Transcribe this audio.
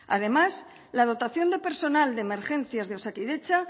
además la dotación de personal de emergencias de osakidetza